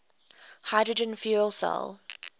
hydrogen fuel cell